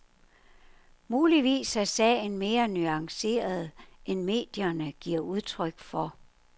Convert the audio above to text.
Muligvis er sagen mere nuanceret end medierne giver udtryk for.